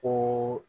Ko